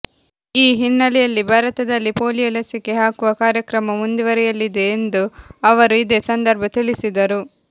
ಈ ಹಿನ್ನೆಲೆಯಲ್ಲಿ ಭಾರತದಲ್ಲಿ ಪೋಲಿಯೋ ಲಸಿಕೆ ಹಾಕುವ ಕಾರ್ಯಕ್ರಮ ಮುಂದುವರಿಯಲಿದೆ ಎಂದು ಅವರು ಇದೇ ಸಂದರ್ಭ ತಿಳಿಸಿದರು